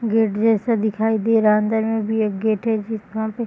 gate जैसा दिखाई दे रहा है अंदर में भी एक गेट है जिसका --